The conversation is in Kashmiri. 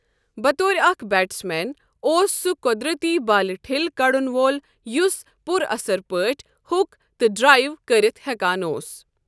بطور اکھ بیٹس مین، اوس سہ قۄدرتی بالہِ ٹِھل کڈن وول یُس پُر اثر پٲٹھۍ ہُک تہٕ ڈرٛایو کٔرِتھ ہیکان اوس ۔